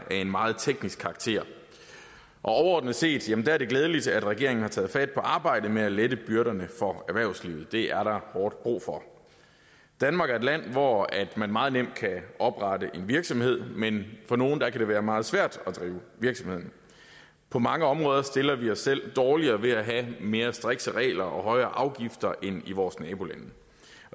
er af en meget teknisk karakter overordnet set er det glædeligt at regeringen har taget fat på arbejdet med at lette byrderne for erhvervslivet det er der hårdt brug for danmark er et land hvor man meget nemt kan oprette en virksomhed men for nogle kan det være meget svært at drive virksomheden på mange områder stiller vi os selv dårligere ved at have mere strikse regler og højere afgifter end i vores nabolande